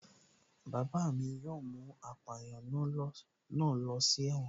Bàbá mi yóò mú apàyàn náà ló si ẹ̀wọ̀n